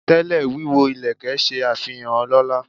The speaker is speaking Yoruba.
Tẹ́lẹ̀, wíwọ ìlẹ̀kẹ̀ ṣe àfihàn ọlọ́lá.